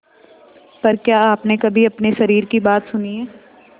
पर क्या आपने कभी अपने शरीर की बात सुनी है